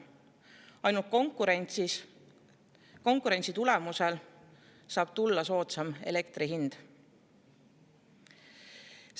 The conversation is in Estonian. Ainult konkurentsi tulemusel saab tulla soodsam hind.